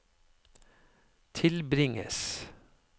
tilbringes